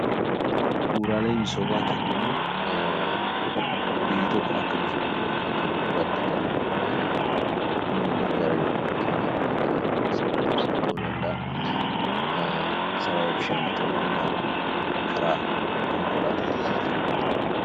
Bu'uuraalee misoomaa kan jennuun biyyi tokko akka misoomtuuf, akka bu'uuraatti kan nu gargaarudha. Fakkeenyaaf akka sarara ibsaa ta'uu danda'a, sarara bishaanii ta'uu danda'a, karaa konkolaataa ta'uu danda'a.